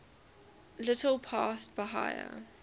little past bahia